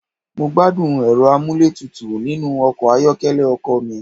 Mo gbádùn Ẹ̀rọ amúlétutù nínú ọkọ̀ ayọ́kẹ́lẹ́ ọkọ̀ mi.